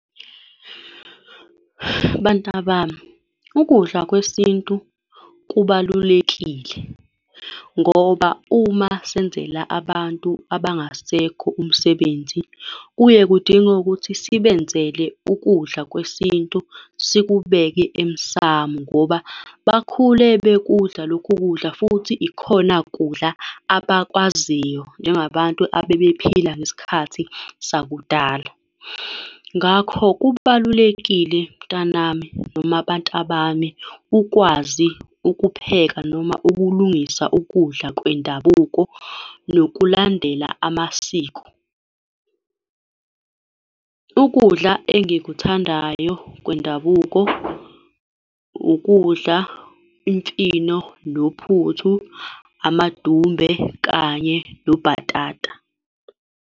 Bantabami, ukudla kwesintu kubalulekile, ngoba uma senzela abantu abangasekho umsebenzi kuye kudinge ukuthi sibenzele ukudla kwesintu, sikubeke emsamu, ngoba bakhule bekudla lokhu kudla, futhi ikhona kudla abakwaziyo njengabantu abebephila ngesikhathi sakudala. Ngakho, kubalulekile mntanami noma bantabami ukwazi ukupheka noma ukulungisa ukudla kwendabuko nokulandela amasiko. Ukudla engikuthandayo kwendabuko, ukudla imfino nophuthu, amadumbe kanye nobhatata.